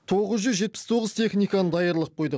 тоғыз жүз жетпіс тоғыз техниканы даярлап қойдық